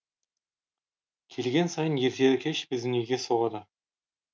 келген сайын ертелі кеш біздің үйге соғады